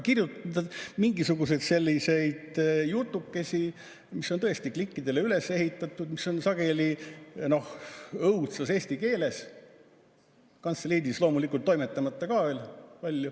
Kirjutatakse mingisuguseid jutukesi, mis on tõesti klikkidele üles ehitatud, sageli õudses eesti keeles, kantseliidis, loomulikult toimetamata ka veel.